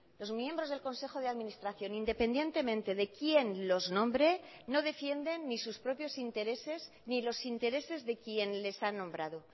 los miembros del consejo de administración independientemente de quién los nombre no defienden ni sus propios intereses ni los intereses de quien les ha nombrado